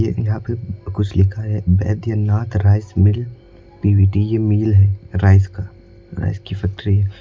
यहां पे कुछ लिखा है वैद्यनाथ राइस मिल पी_वी_टी की मिल है राइस का राइस की फैक्ट्री है।